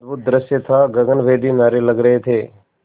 अद्भुत दृश्य था गगनभेदी नारे लग रहे थे